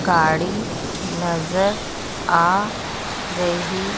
गाड़ी नजर आ रही--